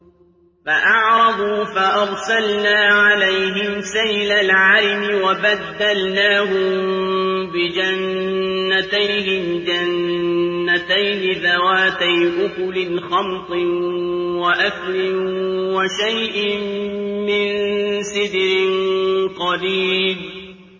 فَأَعْرَضُوا فَأَرْسَلْنَا عَلَيْهِمْ سَيْلَ الْعَرِمِ وَبَدَّلْنَاهُم بِجَنَّتَيْهِمْ جَنَّتَيْنِ ذَوَاتَيْ أُكُلٍ خَمْطٍ وَأَثْلٍ وَشَيْءٍ مِّن سِدْرٍ قَلِيلٍ